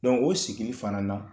o sigili i fana na